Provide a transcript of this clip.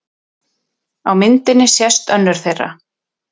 Á myndinni sést önnur þeirra.